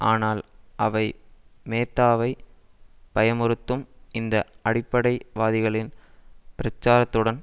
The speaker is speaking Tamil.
ஆனால் அவை மேத்தாவை பயமுறுத்தும் இந்த அடிப்படை வாதிகளின் பிரச்சாரத்துடன்